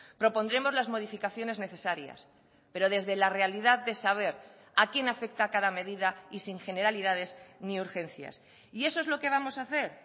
propondremos las modificaciones necesarias pero desde la realidad de saber a quién afecta cada medida y sin generalidades ni urgencias y eso es lo que vamos a hacer